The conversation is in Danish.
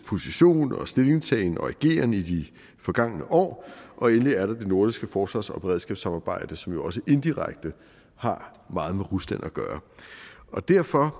position og stillingtagen og ageren i de forgangne år og endelig er der det nordiske forsvars og beredskabssamarbejde som jo også indirekte har meget med rusland at gøre derfor